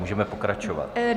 Můžeme pokračovat.